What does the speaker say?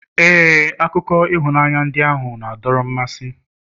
ee, akụkọ ịhụnanya ndị ahụ na-adọrọ mmasị